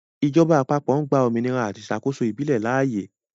Ìjọba àpapọ̀ ń gba òmìnira àti ìṣàkóso ìbílẹ̀ láàyè.